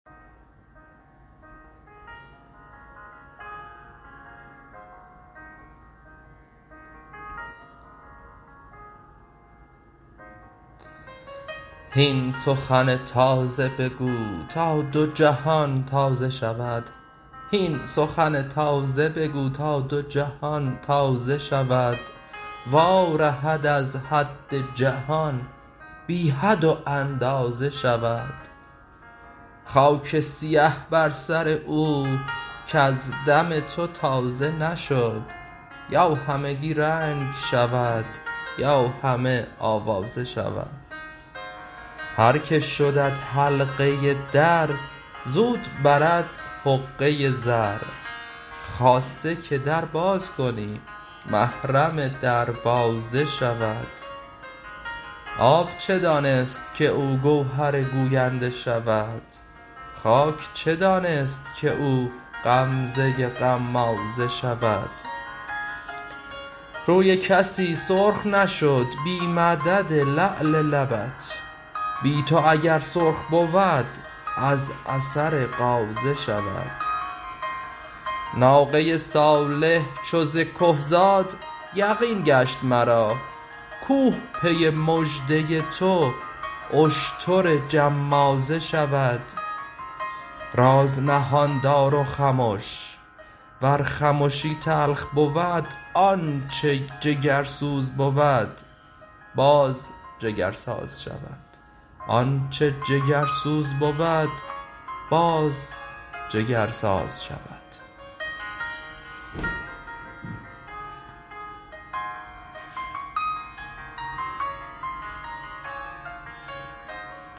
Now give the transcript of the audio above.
هین سخن تازه بگو تا دو جهان تازه شود وارهد از حد جهان بی حد و اندازه شود خاک سیه بر سر او کز دم تو تازه نشد یا همگی رنگ شود یا همه آوازه شود هر که شدت حلقه در زود برد حقه زر خاصه که در باز کنی محرم دروازه شود آب چه دانست که او گوهر گوینده شود خاک چه دانست که او غمزه غمازه شود روی کسی سرخ نشد بی مدد لعل لبت بی تو اگر سرخ بود از اثر غازه شود ناقه صالح چو ز که زاد یقین گشت مرا کوه پی مژده تو اشتر جمازه شود راز نهان دار و خمش ور خمشی تلخ بود آنچ جگرسوزه بود باز جگرسازه شود